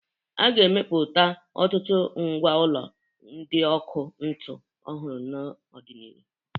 A ga-emepụta ọtụtụ mgwa ọlụ ndị ọkụ ntu ọhụrụ n'ọ dị n'iru.